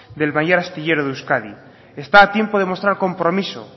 del mayor astillero de euskadi está a tiempo de mostrar compromiso